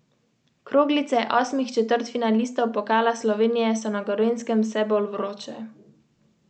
Trgovanje na Ljubljanski borzi je bilo spet negativno.